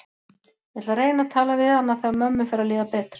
Ég ætla að reyna að tala við hana þegar mömmu fer að líða betur.